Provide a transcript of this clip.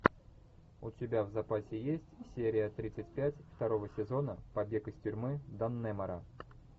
у тебя в запасе есть серия тридцать пять второго сезона побег из тюрьмы даннемора